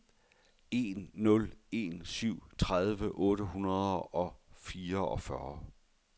en nul en syv tredive otte hundrede og fireogfyrre